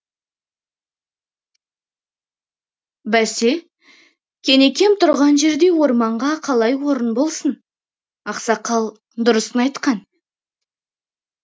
бәсе кенекем тұрған жерде орманға қалай орын болсын ақсақал дұрысын айтқан